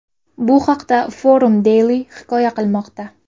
Bu haqda Forum Daily hikoya qilmoqda .